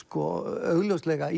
augljóslega